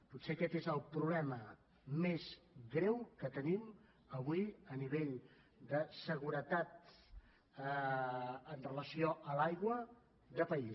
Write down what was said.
potser aquest és el problema més greu que tenim avui a nivell de seguretat amb relació a l’aigua de país